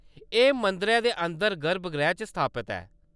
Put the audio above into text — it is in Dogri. एह्‌‌ मंदरै दे अंदर गर्भगृह च स्थापत ऐ।